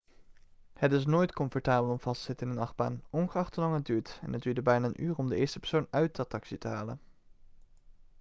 het is nooit comfortabel om vast te zitten in een achtbaan ongeacht hoelang het duurt en het duurde bijna een uur om de eerste persoon uit de attractie te halen.'